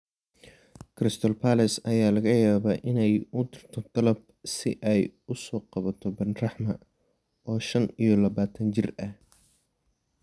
Crystal Palace ayaa laga yaabaa inay u dirto dalab si ay u soo qabato Benrahma, oo shaan iyo labatan jir ah.